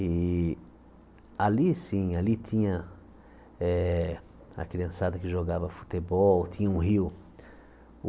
E ali, sim, ali tinha eh a criançada que jogava futebol, tinha um rio.